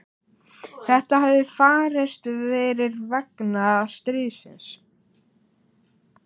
Þetta hefði farist fyrir vegna stríðsins.